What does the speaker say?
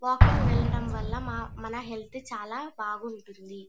Walking వెళ్లడం వాళ్ళ మన హెల్త్ చాల బాగుంటుంది.